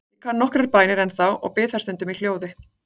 Ég kann nokkrar bænir ennþá og bið þær stundum í hljóði.